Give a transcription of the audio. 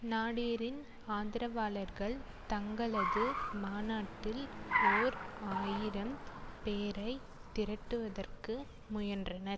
நாடேரின் ஆதரவாளர்கள் தங்களது மாநாட்டில் ஓர் ஆயிரம் பேரை திரட்டுவதற்கு முயன்றனர்